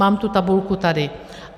Mám tu tabulku tady.